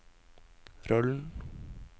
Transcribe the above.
rollen